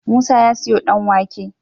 Musa ya siyo dan wake